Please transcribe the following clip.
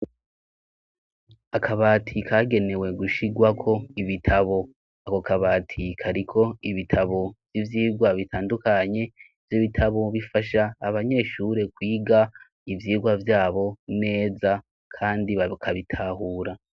Akabatiy kagenewe gushirwako ibitabo ako kabati ikariko ibitabo vy'ivyirwa bitandukanye vy'ibitabo mubifasha abanyeshure kwiga ivyirwa vyabo neza, kandi bakabitahura.